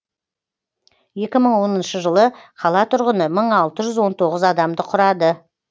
екі мың оныншы жылы қала тұрғыны мың алты жүз он тоғыз адамды құрады